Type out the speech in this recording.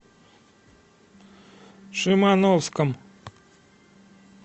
шимановском